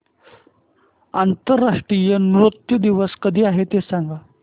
आंतरराष्ट्रीय नृत्य दिवस कधी आहे ते सांग